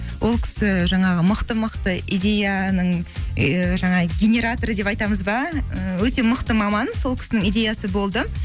ол кісі жаңағы мықты мықты идеяның і жаңағы генераторы деп айтамыз ба і өте мықты маман сол кісінің идеясы болды